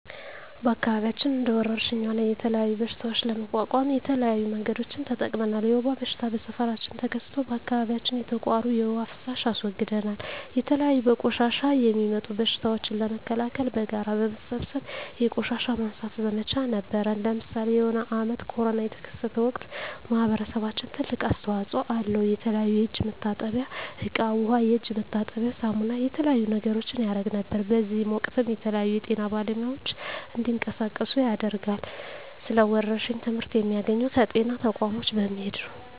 በአከባቢያችን እንደ ወረርሽኝ ሆነ የተለያዩ በሽታዎች ለመቋቋም የተለያዩ መንገዶችን ተጠቅመናል የወባ በሽታ በሠፈራችን ተከስቶ በአካባቢያችን የተቃሩ የዉሃ ፋሳሽ አስወግደናል የተለያዩ በቆሻሻ የሚጡም በሽቶችን ለመከላከል በጋራ በመሠብሰብ የቆሻሻ ማንሳት ዘመቻ ነበረነ ለምሳሌ የሆነ አመት ኮርና የተከሰተ ወቅት ማህበረሰባችን ትልቅ አስተዋጽኦ አለው የተለያዩ የእጅ መታጠብያ እቃ ዉሃ የእጅ መታጠቢያ ሳሙና የተለያዩ ነገሮችን ያረግ ነበር በእዚህም ወቅትም የተለያዩ የጤና ባለሙያዎች እንዲቀሳቀሱ ያደርጋል ስለ ወረርሽኝ ትመህርት የሚያገኘው ከጤና ተቋሞች በመሄድ ነው